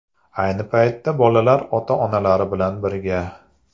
Ayni paytda bolalar ota-onalari bilan birga.